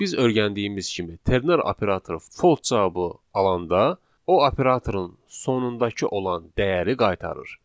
Biz öyrəndiyimiz kimi ternar operatoru false cavabı alanda o operatorun sonundakı olan dəyəri qaytarır.